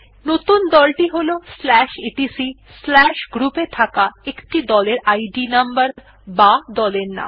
নতুন দল টি হল etcgroup এ থাকা একটি দলের ইদ নম্বর বা দলের নাম